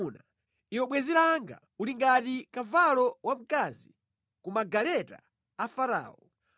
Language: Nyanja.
Iwe bwenzi langa, uli ngati kavalo wamkazi ku magaleta a Farao.